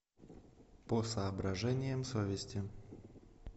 по соображениям совести